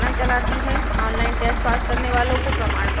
online test pass करने वालो को प्रमाणपत्र भी देती हैं